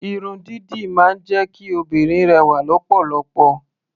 Irun dídì máa ń jẹ́ kí obìnrin rẹwà lọ́pọ̀lọpọ̀.